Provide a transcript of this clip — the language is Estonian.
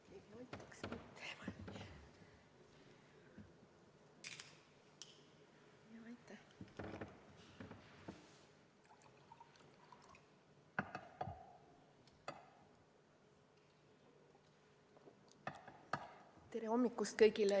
Tere hommikust kõigile!